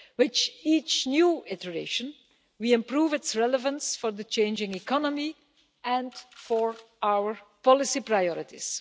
With each new iteration we improve its relevance for the changing economy and for our policy priorities.